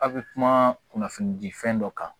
A bɛ kuma kunnafoni di fɛn dɔ kan